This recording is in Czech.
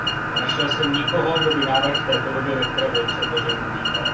Nenašel jsem nikoho, kdo by návrh v té podobě, ve které byl předložen, uvítal.